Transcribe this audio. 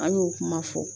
An y'o kuma fɔ